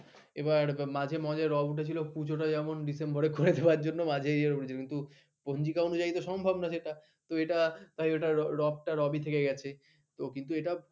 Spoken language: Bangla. মাঝে মজার রব উঠেছিল পুজো টা যেমন ডিসেম্বরে করে দেওয়ার জন্য মাঝে রব উঠেছিল কিন্তু পঞ্জিকা অনুযায়ীই তো সম্ভব না সেটা তো এটা তাই ওটা রব টা রবই থেকে গেছে কিন্তু এটা